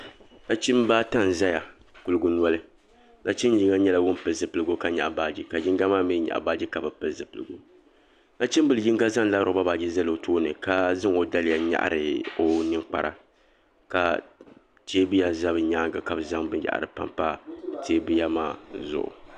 Nachimba ata n zaya kuliginoli nachin yino nyɛla ŋun pili zipligu ka nyaɣi baaji ka yinga maa mi nyaɣi baaji ka bi pili zipiligu nachimbila yinga zaŋla loba baaji zali o tooni ka zaŋ o daliya nyɛhiri o ninkpara ka teebuya za bɛ nyaanga ka bɛ zaŋ binyahari tam tam teebuya maa zuɣu .